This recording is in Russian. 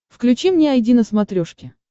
включи мне айди на смотрешке